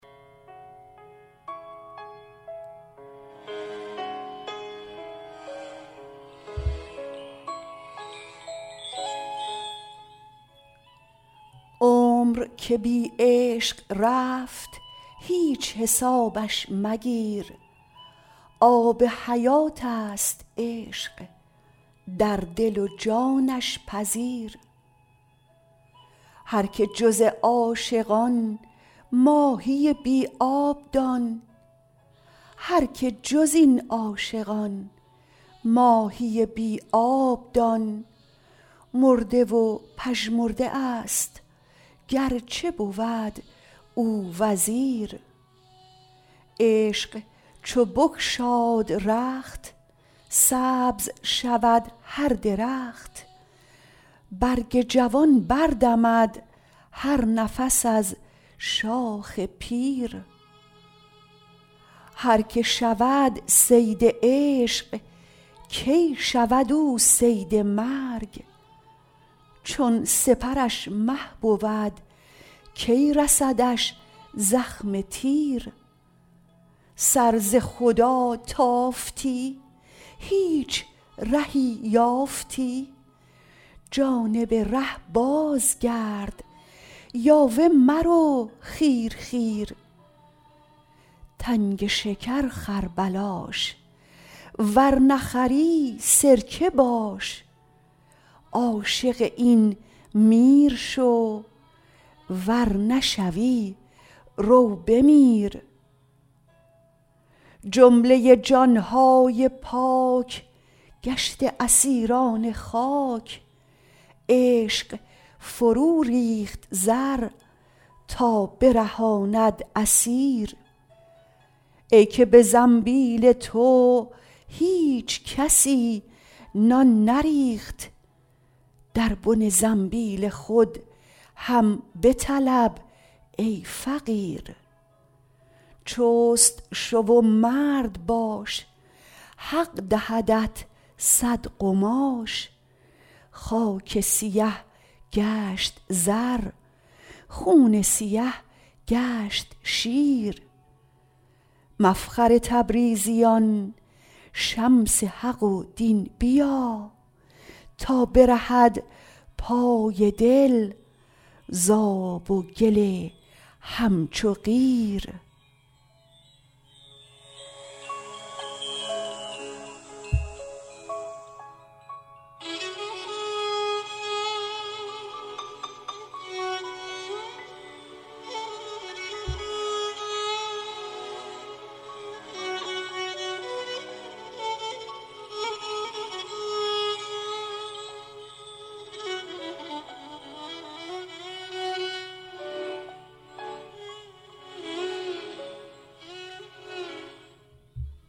عمر که بی عشق رفت هیچ حسابش مگیر آب حیات ست عشق در دل و جانش پذیر هر که جز این عاشقان ماهی بی آب دان مرده و پژمرده است گر چه بود او وزیر عشق چو بگشاد رخت سبز شود هر درخت برگ جوان بر دمد هر نفس از شاخ پیر هر که شود صید عشق کی شود او صید مرگ چون سپرش مه بود کی رسدش زخم تیر سر ز خدا تافتی هیچ رهی یافتی جانب ره بازگرد یاوه مرو خیر خیر تنگ شکر خر بلاش ور نخری سرکه باش عاشق این میر شو ور نشوی رو بمیر جمله جان های پاک گشته اسیران خاک عشق فروریخت زر تا برهاند اسیر ای که به زنبیل تو هیچ کسی نان نریخت در بن زنبیل خود هم بطلب ای فقیر چست شو و مرد باش حق دهدت صد قماش خاک سیه گشت زر خون سیه گشت شیر مفخر تبریزیان شمس حق و دین بیا تا برهد پای دل ز آب و گل همچو قیر